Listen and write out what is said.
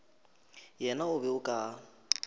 yena o be o ka